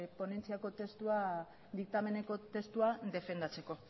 ponentziako testua diktameneko testua defendatzeko